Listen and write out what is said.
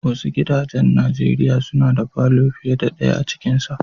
Wasu gidajen Nijeriya suna da falo fiyar da daya a cikin sa.